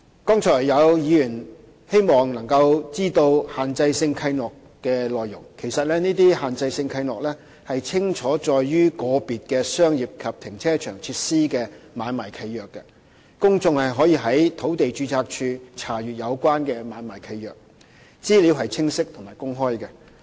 剛才有議員希望能夠知道限制性契諾的內容，其實這些限制性契諾已清楚載於個別的商業及停車場設施的買賣契約，公眾可以在土地註冊處查閱有關的買賣契約，資料是清晰和公開的。